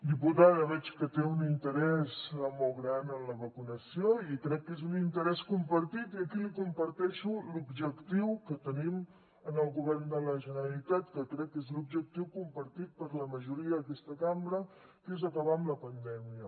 diputada veig que té un interès molt gran en la vacunació i crec que és un interès compartit i aquí li comparteixo l’objectiu que tenim en el govern de la generalitat que crec que és l’objectiu compartit per la majoria d’aquesta cambra que és acabar amb la pandèmia